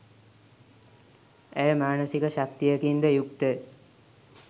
ඇය මානසික ශක්තියකින්ද යුක්තය.